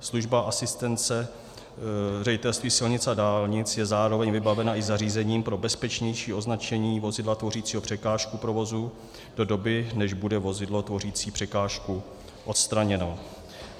Služba asistence Ředitelství silnic a dálnic je zároveň vybavena i zařízením pro bezpečnější označení vozidla tvořícího překážku provozu do doby, než bude vozidlo tvořící překážku odstraněno.